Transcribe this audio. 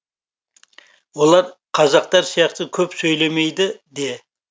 олар қазақтар сияқты көп сөйлемейді де